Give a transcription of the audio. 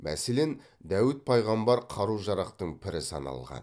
мәселен дәуіт пайғамбар қару жарақтың пірі саналған